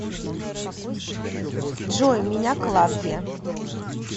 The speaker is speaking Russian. джой меня клавдия